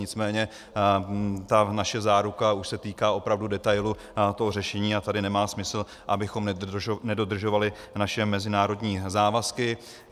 Nicméně ta naše záruka už se týká opravdu detailu toho řešení a tady nemá smysl, abychom nedodržovali naše mezinárodní závazky.